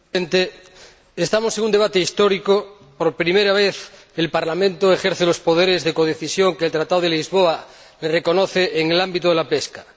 Señor Presidente, estamos en un debate histórico. Por primera vez, el Parlamento ejerce los poderes de codecisión que el Tratado de Lisboa le reconoce en el ámbito de la pesca.